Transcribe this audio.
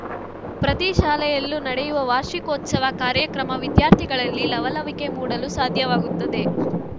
ಪ್ರತಿ ಶಾಲೆಯಲ್ಲೂ ನಡೆಯುವ ವಾರ್ಷಿಕೋತ್ಸವ ಕಾರ್ಯಕ್ರಮ ವಿದ್ಯಾರ್ಥಿಗಳಲ್ಲಿ ಲವಲವಿಕೆ ಮೂಡಲು ಸಾಧ್ಯವಾಗುತ್ತದೆ